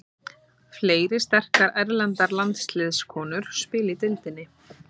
Fleiri sterkar erlendar landsliðskonur spila í deildinni.